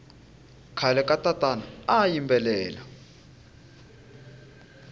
khale katatana ayimbelela